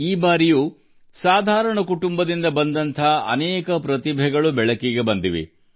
ಈ ಬಾರಿಯೂ ಇಂತಹ ಹಲವು ಪ್ರತಿಭೆಗಳು ಹೊರಹೊಮ್ಮಿವೆ